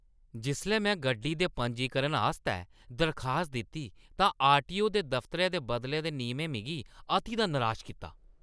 जिसलै में गड्डी दे पंजीकरण आस्तै दरखास्त दित्ती तां आरटीओ दे दफतरै दे बदले दे नियमें मिगी अति दा निराश कीता।